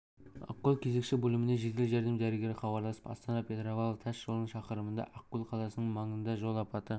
ақкөл кезекші бөліміне жедел жәрдем дәрігері хабарласып астана-петропавл тас жолының шақырымында ақкөл қаласының маңында жол апаты